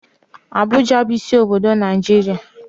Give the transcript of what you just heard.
Abuja bu isi obodo Naijiria.